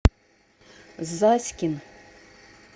заськин